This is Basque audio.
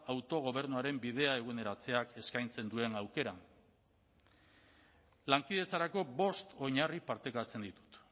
autogobernuaren bidea eguneratzeak eskaintzen duen aukeran lankidetzarako bost oinarri partekatzen ditut